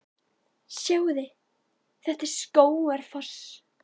Sjáiði! Þetta er Skógafoss.